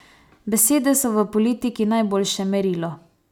Besede so v politiki najboljše merilo.